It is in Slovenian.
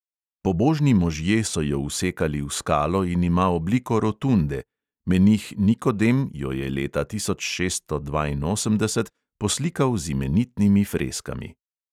Pobožni možje so jo vsekali v skalo in ima obliko rotunde; menih nikodem jo je leta tisoč šeststo dvainosemdeset poslikal z imenitnimi freskami.